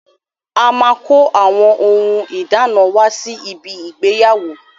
A máa kó àwọn ohun ìdána wá sí ibi ìgbéyàwó.